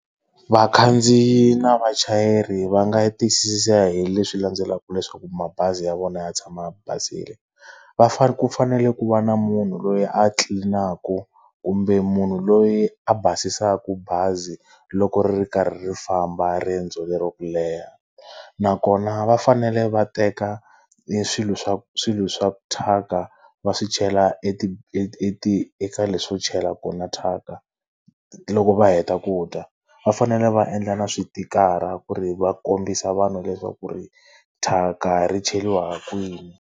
Vakhandziyi na vachayeri va nga tiyisisa hi leswi landzelaka leswaku mabazi ya vona ya tshama a basile. Va ku fanele ku va na munhu loyi a tlilinaku, kumbe munhu loyi a basisaku bazi loko ri ri karhi ri famba riendzo lero ku leha. Nakona va fanele va teka eswilo swa swilo swa thyaka a va swi chela eka leswo chela kona thyaka loko va heta ku dya. Va fanele va endla na switikara ku ri va kombisa vanhu leswaku ri thyaka ri cheriwa ha kwini.